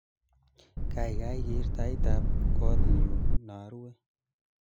Kaikai ker taitab kotnyu naruwe